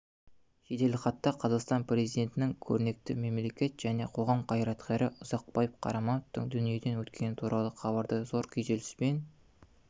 жеделхатта қазақстан президентінің көрнекті мемлекет және қоғам қайраткері ұзақбай қарамановтың дүниеден өткені туралы хабарды зор күйзеліспен